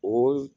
O